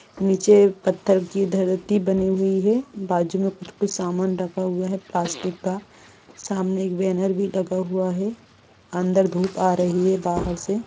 नीचे पत्थर की धर्ती बनि हुई हैं बाजू मे कुछ समान रखा हुआ हैं प्लास्टिक का सामने एक बैनर भी लगा हुआ हैं अंदर धूप आरा ही हैं बाहर से--